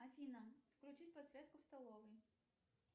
афина включи подсветку в столовой